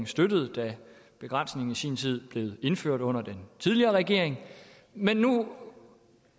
støttede da begrænsningen i sin tid blev indført under den tidligere regering men nu